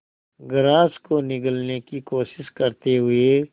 grass को निगलने की कोशिश करते हुए